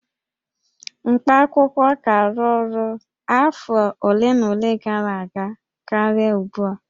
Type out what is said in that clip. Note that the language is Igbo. Mkpaakwụkwọ ka arụ ọrụ afọ ole na ole gara aga karịa ugbua